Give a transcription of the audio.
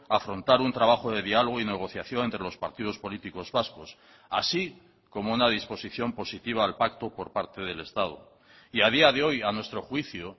afrontar un trabajo de diálogo y negociación entre los partidos políticos vascos así como una disposición positiva al pacto por parte del estado y a día de hoy a nuestro juicio